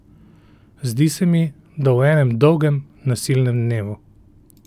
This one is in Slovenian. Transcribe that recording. Zdi se mi, da v enem dolgem, nasilnem dnevu.